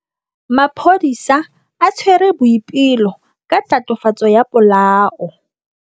Maphodisa a tshwere Boipelo ka tatofatsô ya polaô.